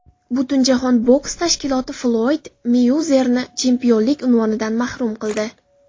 Butunjahon boks tashkiloti Floyd Meyuezerni chempionlik unvonidan mahrum qildi.